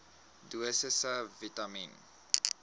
dosisse vitamien